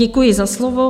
Děkuji za slovo.